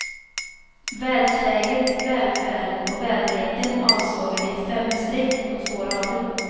Världsläget, välfärden och väderleken avsågade i fem streck och två rader.